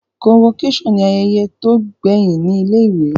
Convocation ni ayẹyẹ to gbẹhin ni ilé ìwé